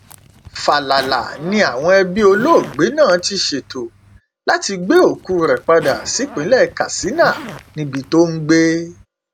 fàlàlà ni àwọn ẹbí olóògbé náà ti ṣètò láti gbé òkú rẹ padà sípínlẹ katsina níbi tó ń gbé